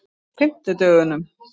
fimmtudögunum